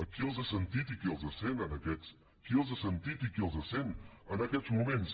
qui els ha sentit i qui els sent qui els ha sentit i qui els sent en aquests moments